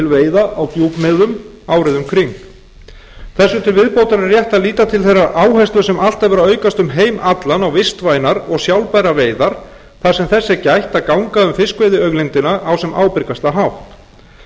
veiða á djúpmiðum árið um kring þessu til viðbótar er rétt að líta til þeirrar áherslu sem alltaf hefur verið að aukast um heim allan á vistvænar og sjálfbærar veiðar þar sem þess er gætt að ganga á fiskveiðiauðlindina á sem ábyrgastan hátt stórir